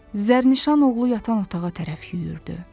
Zərnişan oğlu yatan otağa tərəf yüyürdü.